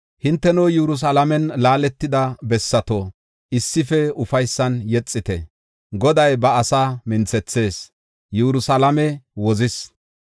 Hinteno Yerusalaamen laaletida bessato, issife ufaysan yexite; Goday ba asaa minthethis; Yerusalaame wozis.